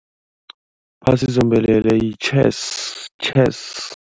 Phasi zombelele yi-chess chess.